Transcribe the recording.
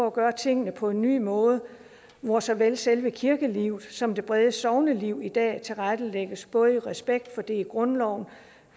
at gøre tingene på en ny måde hvor såvel selve kirkelivet som det brede sogneliv i dag tilrettelægges både i respekt for det i grundloven